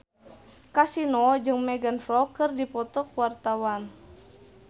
Kasino jeung Megan Fox keur dipoto ku wartawan